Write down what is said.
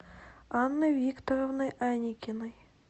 анны викторовны аникиной